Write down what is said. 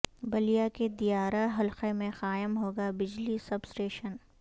بلیا کےدیا را حلقہ میں قائم ہوگا بجلی سب اسٹیشن